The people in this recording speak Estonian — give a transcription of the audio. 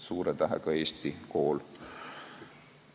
Suure tähega Eesti kool.